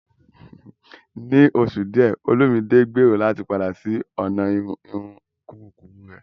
Ní oṣù díẹ̀, Olumide gbèrò láti padà sí ọ̀nà irun kúkúrú rẹ̀.